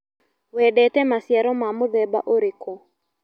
Wendete maciaro ma mũthemba ũrĩkũ.